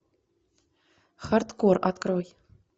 хардкор открой